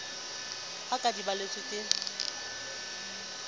ka ha di balletswe ke